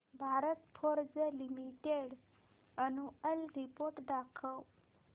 Bharat Forge Limited annual report दाखव